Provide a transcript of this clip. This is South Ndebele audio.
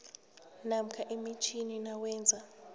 namkha emitjhini nawenza